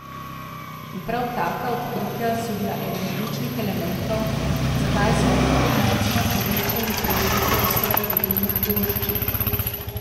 In prav taka odkritja so bila eden ključnih elementov, zakaj smo tako močno povečali pridelke vseh vodilnih poljščin.